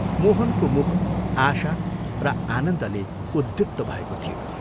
मोहनको मुख आशा र आनन्दले उद्दीप्त भएको थियो।